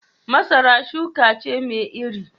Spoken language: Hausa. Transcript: Masara shuka ce mai iri